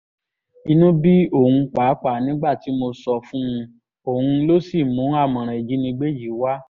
inú bí òun pàápàá nígbà tí mo sọ fún un òun ló sì mú àmọ̀ràn ìjínigbé yìí wá